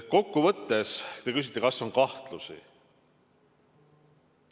Te küsite, kas on kahtlusi.